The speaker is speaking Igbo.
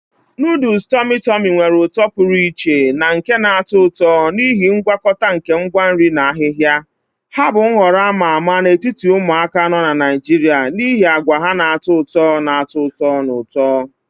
Noodles tummy tummy nwere uto pụrụ iche na nke na-atọ ụtọ n'ihi ngwakọta nke ngwa nri na ahihia. Ha bụ nhọrọ a ma ama n'etiti ụmụaka nọ na Naijiria n'ihi agwa ha na-atọ ụtọ na ụtọ ụtọ na ụtọ.